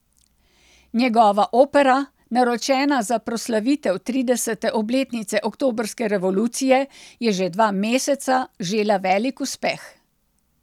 Njegova opera, naročena za proslavitev tridesete obletnice oktobrske revolucije, je že dva meseca žela velik uspeh.